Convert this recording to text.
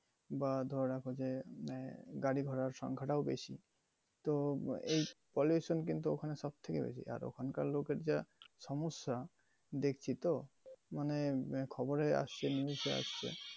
বা আহ গাড়ি ঘোরার সংখ্যাটা ও বেশি। তো এই pollution কিন্তু ওখানে সব থেকে বেশি। আর ওখানকার লোকের যা সমস্যা দেখছি তো মানে খবরে আসছে, news এ আসছে।